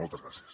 moltes gràcies